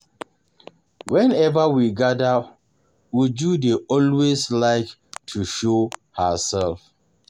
Whenever we gather Uju dey always like to show herself